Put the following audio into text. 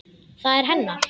Það er hennar.